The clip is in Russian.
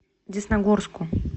десногорску